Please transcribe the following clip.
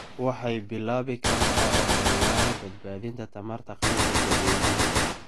Waxay bilaabi kartaa ololayaal badbaadinta tamarta qaybta dadweynaha.